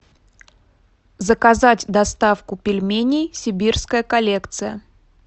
заказать доставку пельменей сибирская коллекция